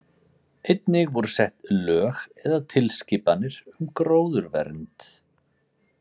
Einnig voru sett lög eða tilskipanir um gróðurvernd.